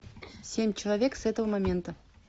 семь человек с этого момента